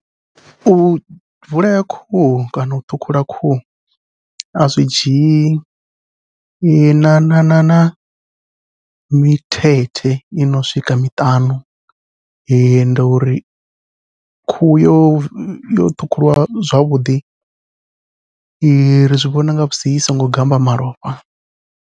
U vulea khuhu kana u ṱhukhula khuhu azwi dzhii na na na na mithethe ino swika miṱanu, ende uri khuhu yo yo ṱhukhuliwa zwavhuḓi i ri zwivhona nga musi i songo gammba malofha.